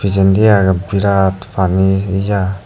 pejendi aagey virat pani ya.